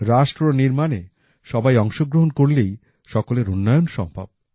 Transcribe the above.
রাষ্ট্র নির্মাণে সবাই অংশগ্রহণ করলেই সকলের উন্নয়ন সম্ভব